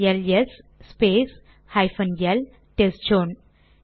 LS space hyphen L test zone